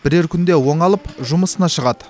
бірер күнде оңалып жұмысына шығады